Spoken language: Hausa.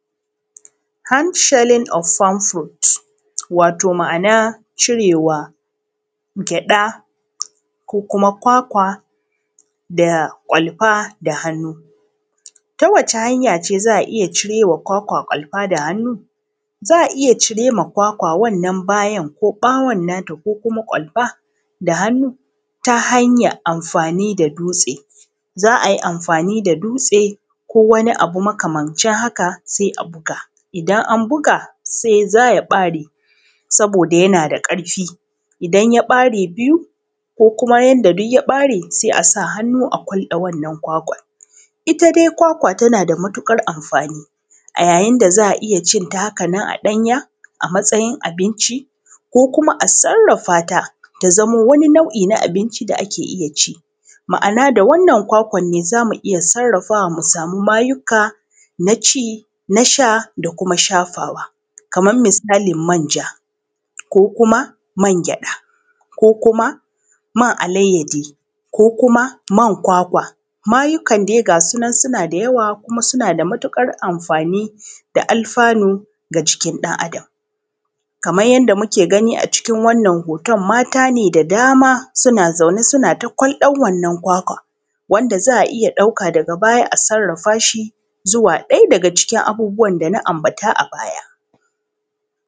Hand shelling of some fruit, wato ma’ana cire wa gyaɗa ko kuma kwakwa da ƙwalfa da hannu Ta wace hanya ce za a iya cire wa kwakwa ƙwalfa da hannu?? Za a iya cire ma kwakwa wannan bayan, ko ƃawon nata, ko kuma ƙwalfa da hannu ta hanyaˀ amfani da dutse za ai amfani da dutse. Za ai amfani da dutse, ko wani abu makamancin haka, sai a buga. Idan an buga se za ya ƃare, saboda da yana da ƙarfi idan ya ƃare biyu, ko kuma yanda duy ya ƃare, sai a sa hannu a kwalɗe wannan kwakwat Ita dai kwakwa tana da matuƙar amfani, a yayin da za a iya cin ta haka nan a ɗanya, a matsayin abinci ko kuma a sarrafa ta, ta zamo wani nau’i na abinci da ake iya ci Ma’ana, da wannan kwakwan ne, za mu iya sarrafawa mu sami mayukka na ci, na sha da kuma shafawa. Kaman musalin manja ko kuma mangyaɗa, ko kuma man alayyadi ko kuma man kwakwa Mayukkan dai ga su nan suna da yawa, kuma suna da matuƙar amfani da alfanu ga jikin ɗan Adam. kamay yanda muke gani a cikin wannan hoton, mata ne da dama suna zaune suna ta kwalɗan wannan kwakwa, wanda za a iya ɗauka daga baya a sarrafa shi, zuwa ɗaya daga cikin abubuwan da na ambata a baya.